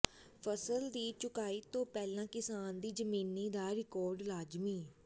ਫਸਲ ਦੀ ਚੁਕਾਈ ਤੋਂ ਪਹਿਲਾਂ ਕਿਸਾਨ ਦੀ ਜ਼ਮੀਨੀ ਦਾ ਰਿਕਾਰਡ ਲਾਜ਼ਮੀ